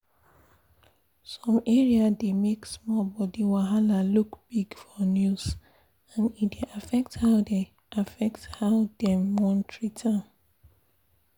some area dey make small body wahala look big for news and e dey affect how dey affect how dem wan treat am.